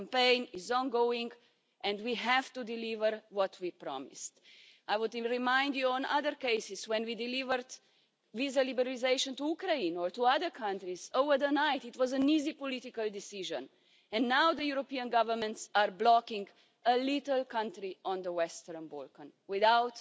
The campaign is ongoing and we have to deliver what we promised. I would remind you that, in other cases when we delivered visa liberalisation to Ukraine or to other countries overnight it was an easy political decision, and now the European governments are blocking a little country in the Western Balkans without